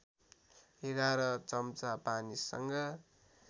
११ चम्चा पानीसँग